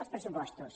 els pressupostos